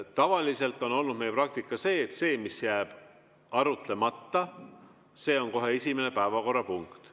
Tavaliselt on olnud meie praktika see, et see, mis jääb arutamata, on kohe esimene päevakorrapunkt.